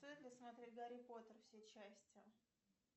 стоит ли смотреть гарри поттер все части